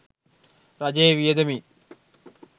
රජයේ වියදමින්